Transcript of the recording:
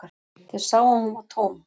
Þeir sáu að hún var tóm.